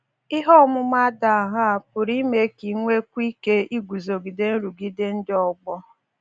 Ihe ọmụma dị aṅaa pụrụ ime ka i nwekwuo ike iguzogide nrụgide ndị ọgbọ?